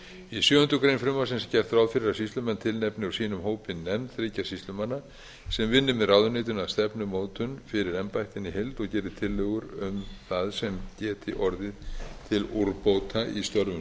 í sjöundu greinar frumvarpsins er gert ráð fyrir að sýslumenn tilnefni úr sínum hópi nefnd þriggja sýslumanna sem vinni með ráðuneytinu að stefnumótun fyrir embættin í heild og geri tillögur um það sem geti orðið til úrbóta í störfum